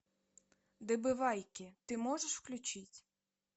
добывайки ты можешь включить